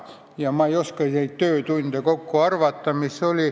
Ja ma ei oska neid töötunde kokku arvata.